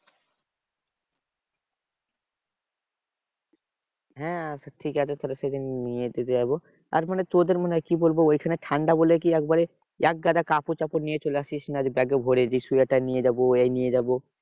হ্যাঁ ঠিকআছে তাহলে সেদিন নিয়ে যাবো। আর মানে তোদের মনে হয় কি বলবো ঐখানে ঠান্ডা বলে কি একেবারে একগাদা কাপড় চোপড় নিয়ে চলে আসিস না ব্যাগে ভোরে। যে সোয়েটার নিয়ে যাবো এই নিয়ে যাবো।